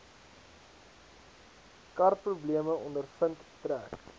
karprobleme ondervind trek